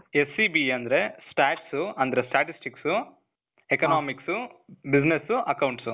SEBA ಅಂದ್ರೆ stats, ಅಂದ್ರೆ statistics, economics, business, accounts